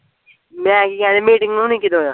ਮੈਂ ਕੀ ਕਹਿਣ ਡਿਆ meeting ਹੋਣੀ ਕਦੋਂ ਆ